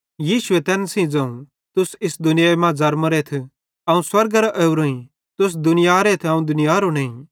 यीशुए तैन सेइं ज़ोवं तुस इस दुनियाई मां ज़र्मोरेथ अवं स्वर्गेरां ओरोईं तुस दुनियारेथ अवं दुनियारो नईं